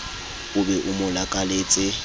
o be o mo lakaletse